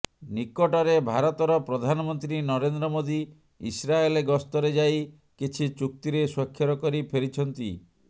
ନିକଟରେ ଭାରତର ପ୍ରଧାନମନ୍ତ୍ରୀ ନରେନ୍ଦ୍ର ମୋଦି ଇସ୍ରାଏଲ ଗସ୍ତରେ ଯାଇ କିଛି ଚୁକ୍ତିରେ ସ୍ୱାକ୍ଷର କରି ଫେରିଛନ୍ତି